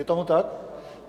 Je tomu tak?